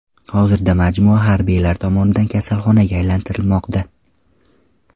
Hozirda majmua harbiylar tomonidan kasalxonaga aylantirilmoqda.